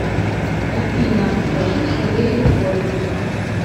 афина хочу скорей в отпуск